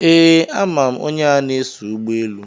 Ee, ama m onye a na-eso ụgbọelu.